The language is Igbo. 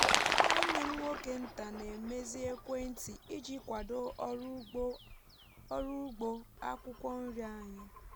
nwanne m nwoke nta na-emezi ekwentị iji kwado ọrụ ugbo akwụkwọ nri anyị